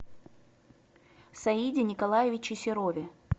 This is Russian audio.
саиде николаевиче серове